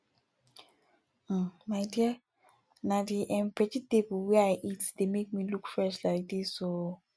um my dear na the um vegetable wey i dey eat dey make me look fresh like dis oo